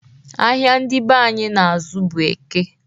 Ahịa ndị be anyị na-azụ bụ Eke.